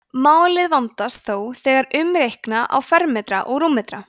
málið vandast þó þegar umreikna á fermetra og rúmmetra